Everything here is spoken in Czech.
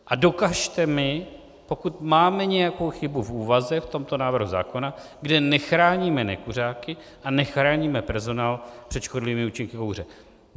A dokažte mi, pokud máme nějakou chybu v úvaze v tomto návrhu zákona, kde nechráníme nekuřáky a nechráníme personál před škodlivými účinky kouře.